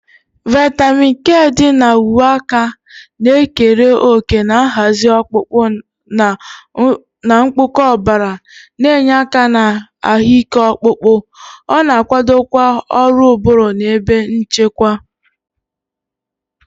Vitamin K dị na uwe aka na-ekere òkè na nhazi ọkpụkpụ na mkpụkọ ọbara, na-enye aka na ahụike ọkpụkpụ. Ọ na-akwadokwa ọrụ ụbụrụ na ebe nchekwa.